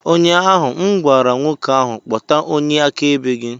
Ụnyaahụ m gwara nwoke ahụ, kpọta onye akaebe gị!